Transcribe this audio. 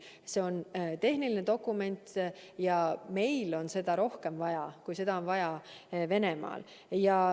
See on tehniline dokument ja meil on seda rohkem vaja kui Venemaal.